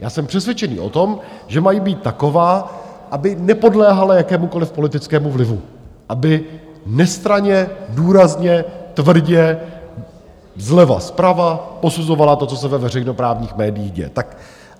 Já jsem přesvědčený o tom, že mají být taková, aby nepodléhala jakémukoliv politickému vlivu, aby nestranně, důrazně, tvrdě, zleva, zprava posuzovala to, co se ve veřejnoprávních médiích děje.